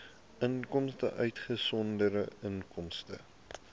inkomste uitgesonderd inkomste